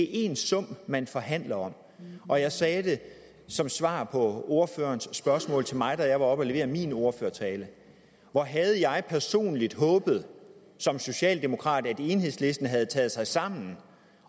én sum man forhandler om og jeg sagde det som svar på ordførerens spørgsmål til mig da jeg var oppe at levere min ordførertale hvor havde jeg personligt håbet som socialdemokrat at enhedslisten havde taget sig sammen